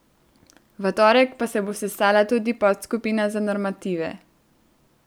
V torek pa se bo sestala tudi podskupina za normative.